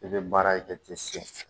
I bɛ baara i tɛ se